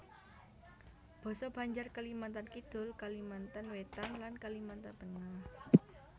Basa Banjar Kalimantan Kidul Kalimantan Wétan lan Kalimantan Tengah